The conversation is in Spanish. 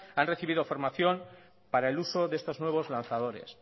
han recibido formación para el uso de estos nuevos lanzadores